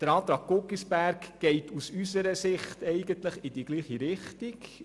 Die Planungserklärung Guggisberg geht aus unserer Sicht in dieselbe Richtung.